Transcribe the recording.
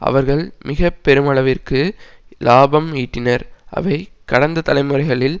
அவர்கள் மிக பெருமளவிற்கு இலாபம் ஈட்டினர் அவை கடந்த தலைமுறைகளில்